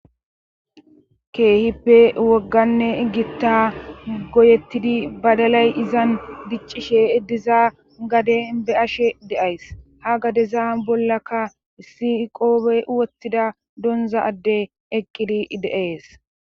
Ke'hippe wogganne gitta goyettidi badalay izan diccishe eddizaa gade be'ashe deays ha gadeza bollaka issi qoobe wottida donza adde eqqidi de'ees